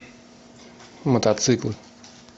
мотоциклы